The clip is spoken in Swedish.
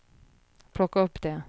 plocka upp det